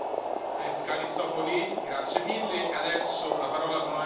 Herr Präsident, Frau Kommissarin, Frau Ratspräsidentin!